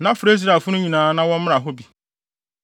na frɛ Israelfo no nyinaa na wɔmmra hɔ bi.”